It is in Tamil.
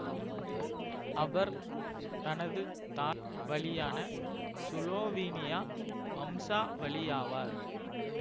அவர் தனது தாய் வழியான சுலோவீனியா வம்சாவளியாவார்